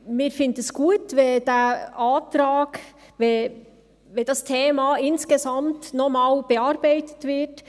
Wir finden es gut, wenn der Antrag, wenn das Thema insgesamt noch einmal bearbeitet wird.